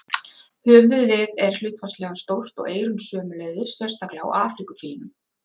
Höfuðið er hlutfallslega stórt og eyrun sömuleiðis, sérstaklega á Afríkufílnum.